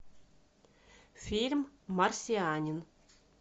фильм марсианин